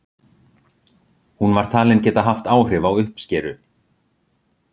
hún var talin geta haft áhrif á uppskeru